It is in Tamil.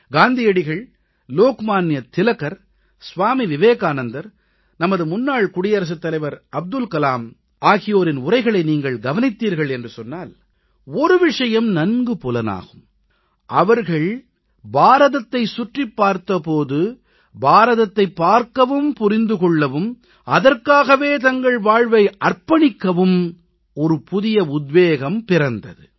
காந்தியடிகள் லோக்மான்ய திலகர் சுவாமி விவேகானந்தர் நமது முன்னாள் குடியரசுத் தலைவர் அப்துல் கலாம் ஆகியோரின் உரைகளை நீங்கள் கவனித்தீர்கள் என்று சொன்னால் ஒரு விஷயம் நன்கு புலப்படும் அவர்கள் பாரதத்தைச் சுற்றிப் பார்த்த போது பாரதத்தை பார்க்கவும் புரிந்து கொள்ளவும் அதற்காகவே தங்கள் வாழ்வை அர்ப்பணிக்கவும் புதிய உத்வேகம் பிறந்தது